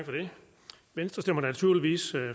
venstre stemmer naturligvis